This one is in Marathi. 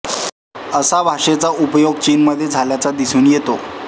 असा भाषेचा उपयोग चीन मध्ये झालेला दिसून येतो